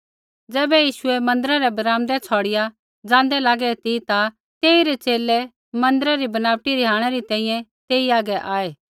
ज़ैबै यीशुऐ मन्दिरा रै ब्राम्दै छ़ौड़िआ ज़ाँदै लागै ती ता तेइरै च़ेले मन्दिरै री बनावट रिहाणै री तैंईंयैं तेई हागै आऐ